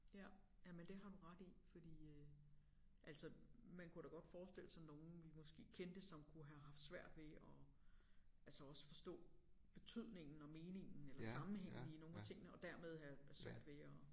Ja jamen det har du ret i fordi øh altså man kunne da godt forestille sig nogen vi måske kendte som kunne have haft svært ved at altså også forstå betydningen og meningen eller sammenhængen i nogle af tingene og dermed have have svært ved at